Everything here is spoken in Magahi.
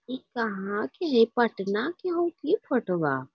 ई कहा के हई पटना के हउ की फोटोवा ई कहा के हई पटना के हउ की फोटोवा --